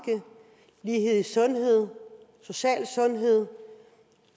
i lighed i sundhed social sundhed